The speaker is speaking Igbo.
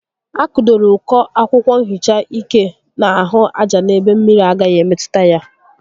A kụdoro uko akwụkwọ nhicha ike n'ahụ aja n'ebe mmiri agaghi emetụta ya